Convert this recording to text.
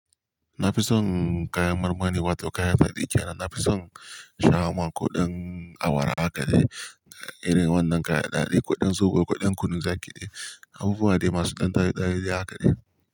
Na fi son kayan marmari wato kayan daɗi kenan. Na fi son shawarma koɗan awara haka dai, irin wannan kayan daɗi, kuɗin zobo, kuɗin kunu za kiɗe. Abubuwa dai masu ɗan daɗi daɗi ha kaɗai.